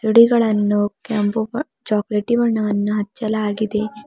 ಸಿಡಿಗಳನ್ನು ಕೆಂಪು ಬಣ್ ಚಾಕೋಲೇಟಿ ಬಣ್ಣವನ್ನು ಹಚ್ಚಲಾಗಿದೆ.